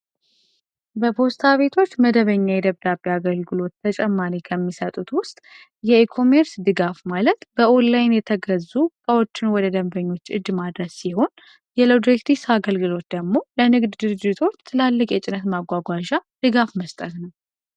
በፖስታ ቤቶች መደበኛ አገልግሎት በተጨማሪ ከሚሰጡት ውስጥ የኢኮሜርስ ድጋፍ ማለት በኦላይን የተገዙ እቃዎችን ወደ ደንበኞች ማድረስ ሲሆን የሎጂስቲክስ አገልግሎት ማለት ደግሞ ለንግድ ድርጅቶች ትላልቅ የጭነት ማጓጓዣ ድጋፍ መስጠት ነው።